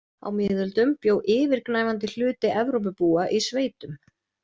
Á miðöldum bjó yfirgnæfandi hluti Evrópubúa í sveitum.